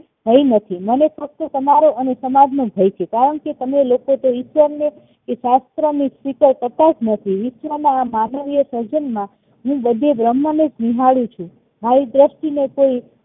ભય નથી મને તો ફક્ત તમારો અને સમાજ નો ભય છે કારણ કે કામે લોકો ઈશ્વરને કે શાસ્ત્ર નો સ્વીકાર કરતાજ નથી ઈશ્વર ના માનવીય સર્જન માં હું બધું બ્રમ્હ નું જ નિહાળું છું મારી દ્રષ્ટિ નો કોઈ